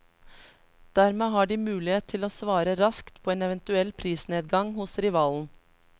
Dermed har de mulighet til å svare raskt på en eventuell prisnedgang hos rivalen.